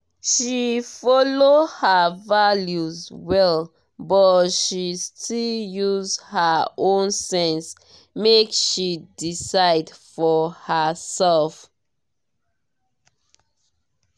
she follow her values well but she still use her own sense make she decide for herself.